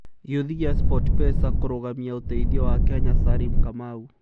Gĩuthi gia SportPesa kũrũgamia ũteithio wa Kenya Salim Kamau